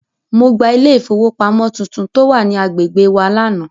Mo gba ilé ìfowópamọ́ tuntun tó wà ní agbègbè wa lánàá.